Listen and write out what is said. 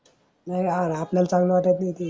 नही या आपल्या चांगलं वाटत नाही ते.